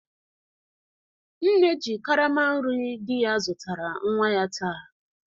Nne ji karama nri di ya zụtara nwa ya taa.